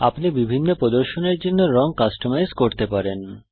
আপনি বিভিন্ন প্রদর্শনের জন্য রং কাস্টমাইজ করতে পারেন